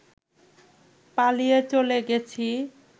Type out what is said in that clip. পালিয়ে চলে গেছি